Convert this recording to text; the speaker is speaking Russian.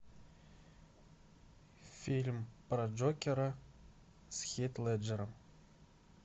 фильм про джокера с хит леджером